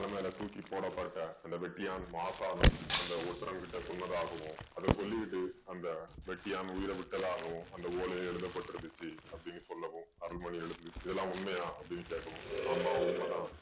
மேல தூக்கி போடப்பட்ட அந்த வெட்டியானும் மாசானும் அந்த ஒற்றன்கிட்ட சொன்னதாகவும் அத சொல்லிட்டு அந்த வெட்டியான் உயிரை விட்டதாகவும் அந்த ஓலை எழுதப்பட்டிருந்துச்சு அப்படின்னு சொல்லவும் அருள்மொழி எழுந்து இதெல்லாம் உண்மையா அப்படின்னு கேட்கவும் ஆமா உண்மைதான்